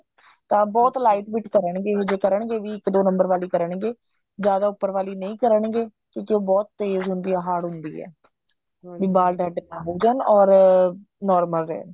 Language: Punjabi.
ਤਾਂ ਬਹੁਤ lightweight ਕਰਨਗੇ ਇਹ ਜੇ ਕਰਨਗੇ ਵੀ ਇੱਕ ਦੋ number ਵਾਲੀ ਕਰਨਗੇ ਜਿਆਦਾ ਉੱਪਰ ਵਾਲੀ ਨਹੀਂ ਕਰਨਗੇ ਕਿਉਂਕਿ ਉਹ ਬਹੁਤ ਤੇਜ਼ ਹੁੰਦੀ ਐ hard ਹੁੰਦੀ ਐ ਵੀ ਬਾਲ dead ਨਾ ਹੋ ਜਾਣ or normal ਰਹਿਣ